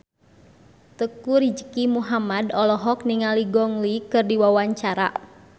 Teuku Rizky Muhammad olohok ningali Gong Li keur diwawancara